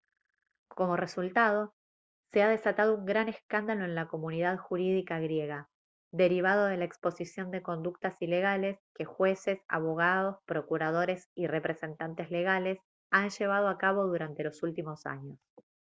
como resultado se ha desatado un gran escándalo en la comunidad jurídica griega derivado de la exposición de conductas ilegales que jueces abogados procuradores y representantes legales han llevado a cabo durante los últimos años